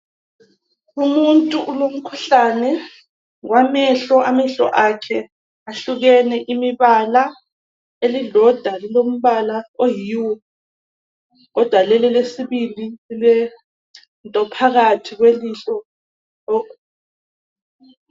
Umuntu ulomkhuhlane wamehlo amehlo akhe ahlukene imibala elilodwa lilombala oyi hue kodwa leli elesibili lilento phakathi kwelihlo .